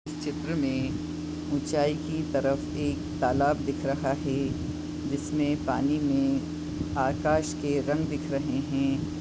इस चित्र मे उचाई की तरफ एक तालाब दिख रहा है जिसमे पानी मे आकाश के रंग दिख रहे है।